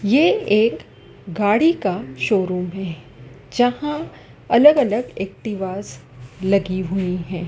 ये एक गाड़ी का शोरूम है जहां अलग अलग एक्टिवाज् लगी हुई है।